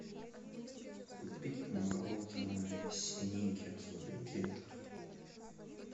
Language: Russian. купить мороженое сникерс в брикетах